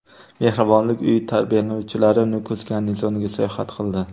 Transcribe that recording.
Mehribonlik uyi tarbiyalanuvchilari Nukus garnizoniga sayohat qildi.